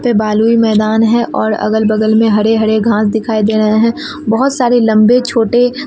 पे बलुई मैदान है और अगल बगल में हरे हरे घांस दिखाई दे रहे हैं बहोत सारे लंबे छोटे--